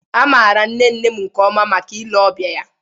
A maara nne nne m nke ọma maka ile ọbịa ya